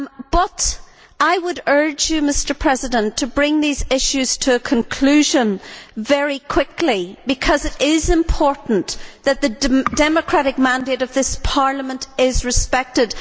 But I would urge you, Mr President, to bring these issues to a conclusion very quickly, because it is important that the democratic mandate of this Parliament is respected.